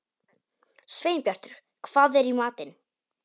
Sveinbjartur, hvað er í matinn?